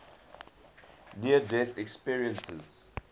near death experiences